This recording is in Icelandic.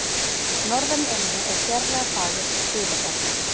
Norðan í eynni er sérlega fagurt stuðlaberg.